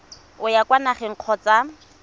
o ya kwa nageng kgotsa